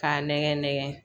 K'a nɛgɛn nɛgɛn